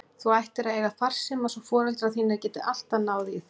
Þú ættir að eiga farsíma svo foreldrar þínir geti alltaf náð í þig.